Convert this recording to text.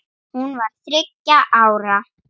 Hún var þá þriggja ára.